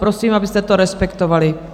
Prosím, abyste to respektovali.